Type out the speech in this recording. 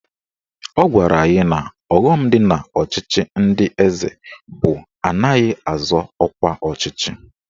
Ọ gwara anyị na ọghọm dị n'ọchịchị ndị eze bụ na anaghị azọ ọkwa ọchịchị